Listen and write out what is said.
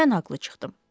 Mən haqlı çıxdım.